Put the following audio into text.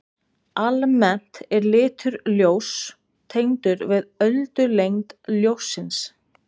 Almennt er litur ljóss tengdur við öldulengd ljóssins.